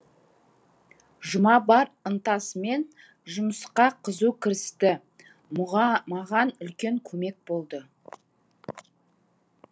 жұма бар ынтасымен жұмысқа қызу кірісті маған үлкен көмек болды